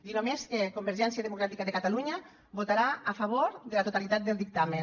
dir només que convergència democràtica de catalunya votarà a favor de la totalitat del dictamen